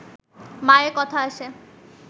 মায়ের কথা আসে